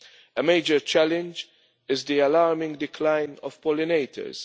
A major challenge is the alarming decline of pollinators.